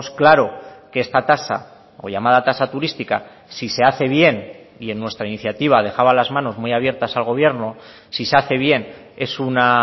claro que esta tasa o llamada tasa turística si se hace bien y en nuestra iniciativa dejaba las manos muy abiertas al gobierno si se hace bien es una